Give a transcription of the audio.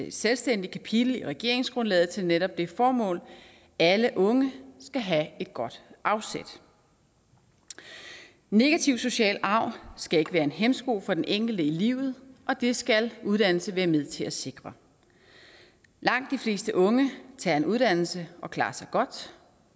et selvstændigt kapitel i regeringsgrundlaget til netop det formål at alle unge skal have et godt afsæt negativ social arv skal ikke være en hæmsko for den enkelte i livet og det skal uddannelse være med til at sikre langt de fleste unge tager en uddannelse og klarer sig godt